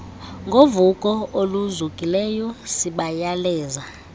ngovuko oluzukileyo sibayaleza